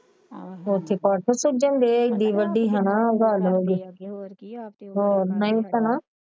ਹਾਂ ਕੱਢਣ ਦੇ ਸੀ ਏਡੀ ਵੱਡੀ ਹੈਨਾ ਹੋਰ ਨਹੀਂ ਭੈਣਾ